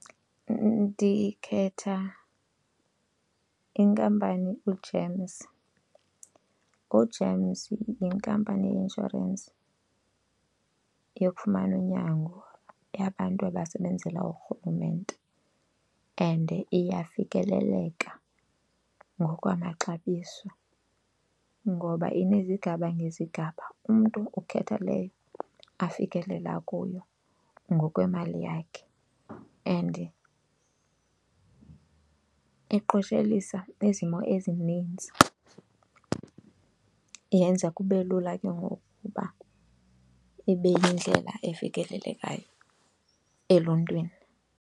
Ndikhetha inkampani uGEMS. U-GEMS yinkampani yeinshorensi yokufumana unyango yabantu abasebenzela uRhulumente and iyafikeleleka ngokwamaxabiso ngoba inezigaba ngezigaba, umntu ukhetha leyo afikelela kuyo ngokwemali yakhe and iqoshelisa kwizimo ezininzi. Yenza kube lula ke ngoku ukuba ibe yindlela efikelelekayo eluntwini.